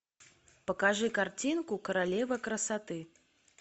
покажи картинку королева красоты